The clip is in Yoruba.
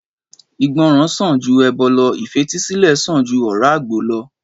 Ìgbọràn sàn ju ẹbọ lọ ìfetísílè sàn ju ọ̀rá àgbò lọ